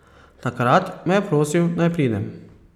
Takrat me je prosil, naj pridem.